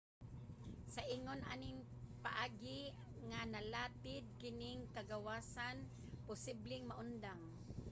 sa ingon aning paagi nga nalatid kining kagawasan posibleng maundang